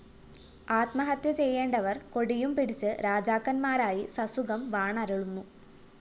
ആത്മഹത്യ ചെയ്യേണ്ടവര്‍ കൊടിയുംപിടിച്ച് രാജാക്കന്മാരായി സസുഖം വാണരുളുന്നു